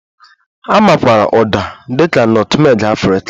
A makwaara Uda dị ka nọtmeg Afrịka